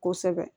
Kosɛbɛ